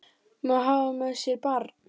Má hafa með sér barn.